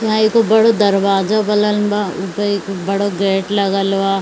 यहा एगो बडो दरवाजा बनलबा उपअ एक बड़ो गेट लगल बा।